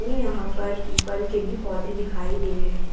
ये यहां पर पीपल के भी पौधे दिखाई दे रहे है।